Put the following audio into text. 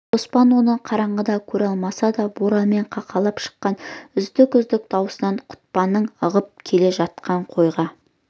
қоспан оны қараңғыда көре алмаса да боранмен қақалып шыққан үздік-үздік даусынан құтпанның ығып келе жатқан қойға